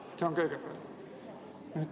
Seda esiteks.